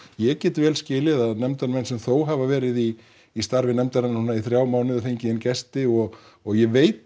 ég get vel skilið að nefndarmenn sem þó hafa verið í í starfi nefndarinnar í þrjá mánuði og fengið inn gesti og ég veit